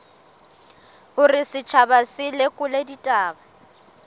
hore setjhaba se lekole ditaba